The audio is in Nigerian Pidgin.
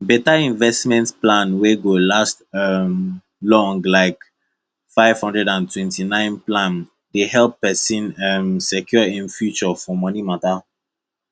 beta investment plan wey go last um long like 529 plan dey help pesin um secure im future for moni mata